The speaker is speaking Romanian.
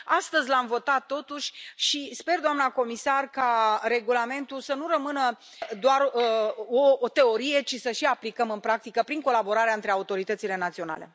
Astăzi l am votat, totuși, și sper, doamna comisar, ca regulamentul să nu rămână doar o teorie, ci și să și aplicăm în practică, prin colaborarea între autoritățile naționale.